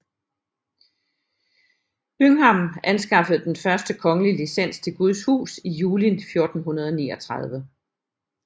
Byngham anskaffede den første kongelige licens til Guds hus i juli 1439